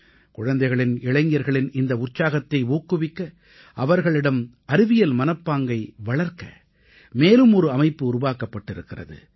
குழந்தைகளின் இளைஞர்களின் இந்த உற்சாகத்தை ஊக்குவிக்க அவர்களிடம் அறிவியல் மனப்பாங்கை வளர்க்க மேலும் ஒரு அமைப்பு உருவாக்கப்பட்டிருக்கிறது